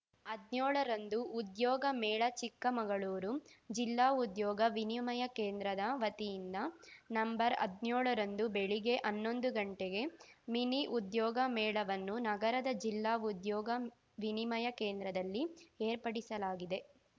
ಹದ್ನ್ಯೋಳ ರಂದು ಉದ್ಯೋಗ ಮೇಳ ಚಿಕ್ಕಮಗಳೂರು ಜಿಲ್ಲಾ ಉದ್ಯೋಗ ವಿನಿಮಯ ಕೇಂದ್ರದ ವತಿಯಿಂದ ನಂಬರ್ಹದ್ನ್ಯೋಳ ರಂದು ಬೆಳಗ್ಗೆ ಹನ್ನೊಂದುಗಂಟೆಗೆ ಮಿನಿ ಉದ್ಯೋಗ ಮೇಳವನ್ನು ನಗರದ ಜಿಲ್ಲಾ ಉದ್ಯೋಗ ವಿನಿಮಯ ಕೆಂದ್ರದಲ್ಲಿ ಏರ್ಪಡಿಸಲಾಗಿದೆ